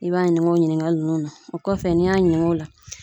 I b'a ɲininka o ɲininkali ninnu na , o kɔfɛ n'i y'a ɲininka o la